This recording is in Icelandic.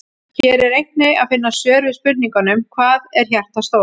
Hér er einnig að finna svör við spurningunum: Hvað er hjartað stórt?